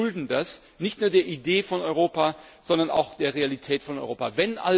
Ich meine, wir schulden das nicht nur der Idee von Europa, sondern auch der Realität von Europa.